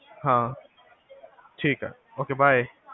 ਹਾਂ, ਠੀਕ ਆ Ok bye